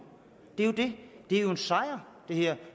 det er jo det det er en sejr